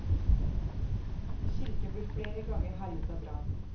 Kirken ble flere ganger herjet av brann.